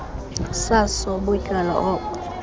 saso butywala obo